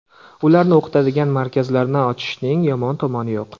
Ularni o‘qitadigan markazlarni ochishning yomon tomoni yo‘q.